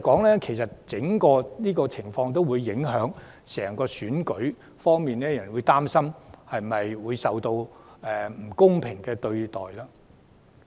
上述安全問題，會影響選舉的整個過程，令人擔心遭受不公平對待。